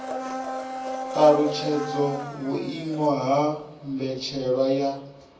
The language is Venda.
talutshedza vhuimo ha mbetshelwa ya